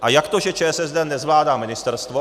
A jak to, že ČSSD nezvládá ministerstvo.